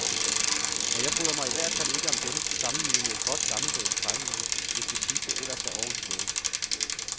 Og jeg bryder mig i hvert fald ikke om dem, sammenlignet med et godt, gammeldags trævindue, hvis det sidste ellers er ordentligt lavet.